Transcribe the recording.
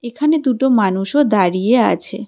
ওখানে দুটো মানুষও দাঁড়িয়ে আছে।